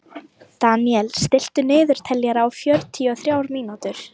Deníel, stilltu niðurteljara á fjörutíu og þrjár mínútur.